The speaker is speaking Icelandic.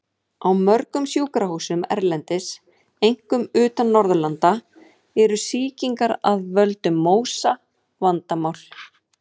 Á mörgum sjúkrahúsum erlendis, einkum utan Norðurlanda, eru sýkingar af völdum MÓSA vandamál.